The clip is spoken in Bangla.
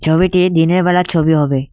ছবিটি দিনের বেলার ছবি হবে।